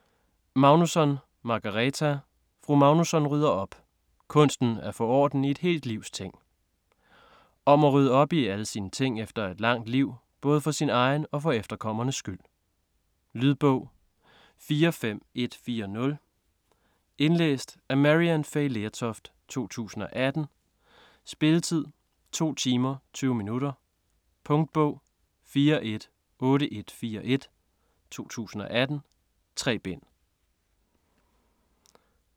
Magnusson, Margareta: Fru Magnusson rydder op!: kunsten at få orden i et helt livs ting Om at rydde op i alle sine ting efter et langt liv, både for sin egen og for efterkommernes skyld. Lydbog 45140 Indlæst af Maryann Fay Lertoft, 2018. Spilletid: 2 timer, 20 minutter. Punktbog 418141 2018. 3 bind.